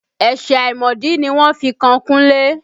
Ẹ̀sẹ̀ àìmọ̀dí ni wọ́n fi kan Kunle